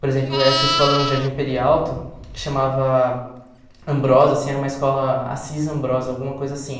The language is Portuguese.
Por exemplo, essa escola no Jardim Peri Alto, que chamava Ambrosa, assim, era uma escola Assis Ambrosa, alguma coisa assim.